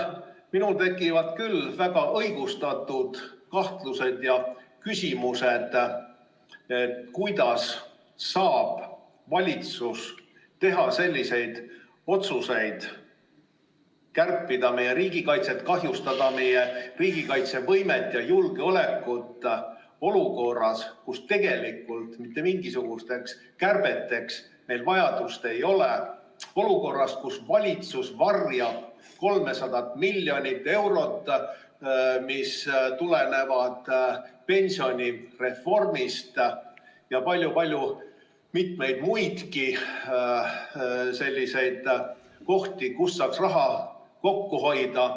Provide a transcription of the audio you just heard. Minul tekivad küll väga õigustatud kahtlused ja küsimused, kuidas saab valitsus teha otsuseid kärpida meie riigikaitset, kahjustada meie riigikaitsevõimet ja julgeolekut olukorras, kus tegelikult mitte mingisugusteks kärbeteks vajadust ei ole, olukorras, kus valitsus varjab 300 miljonit eurot, mis tulevad pensionireformist, ja on mitmeid muidki kohti, kust saaks raha kokku hoida.